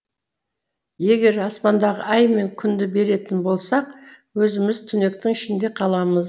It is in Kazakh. егер аспандағы ай мен күнді беретін болсақ өзіміз түнектің ішінде қаламыз